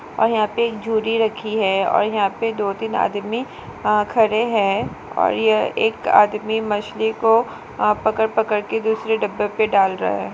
और यहा पे रखी है और यहा पर दो-तीन आदमी अ खड़े है और यह एक आदमी मछली को अ पकड़-पकड़ के दूसरे डब्बे पे डाल रहा है।